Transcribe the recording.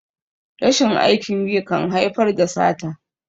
rashin aikin yi kan haifar da sata